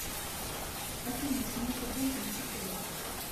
афина смс от банка не приходят